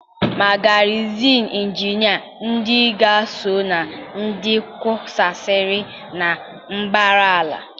Ma garịzin injinia ndị agha sọ na ndị kusaasịrị na mbara ala.